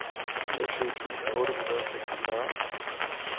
niogtyve tusind otte hundrede og seksogfyrre